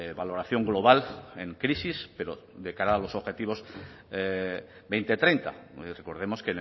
valoración global en crisis pero de cara a los objetivos dos mil treinta recordemos